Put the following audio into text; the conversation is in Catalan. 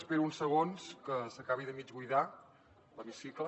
espero uns segons que s’acabi de mig buidar l’hemicicle